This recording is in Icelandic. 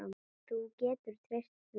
Þú getur treyst því.